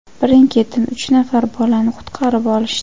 birin-ketin uch nafar bolani qutqarib olishdi.